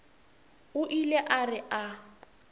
o ile a re a